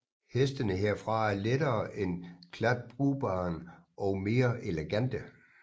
Hestene herfra er lettere end kladruberen og mere elegante